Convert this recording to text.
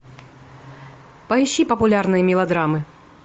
поищи популярные мелодрамы